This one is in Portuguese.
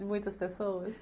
De muitas pessoas.